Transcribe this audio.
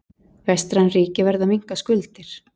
Vestræn ríki verða að minnka skuldir